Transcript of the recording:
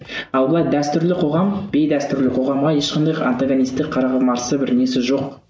ал бұлай дәстүрлі қоғам бейдәстүрлі қоғамға ешқандай антогонистік қарама қарсы бір несі жоқ